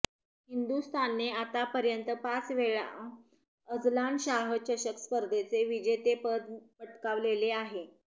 हिंदुस्थानने आतापर्यंत पाच वेळा अझलान शाह चषक स्पर्धेचे जतेपद पटकावलेले आहे